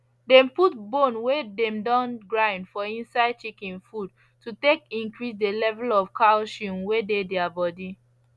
dem put bone wey dem don grind for inside chicken food to take increase the level of calcium wey dey their body